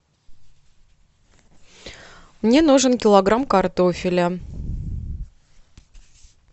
мне нужен килограмм картофеля